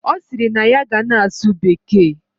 Osiri na ya ga na asu bekee